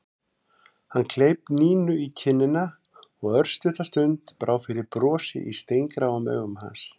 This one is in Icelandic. Hann kleip Nínu í kinnina og örstutta stund brá fyrir brosi í steingráum augum hans.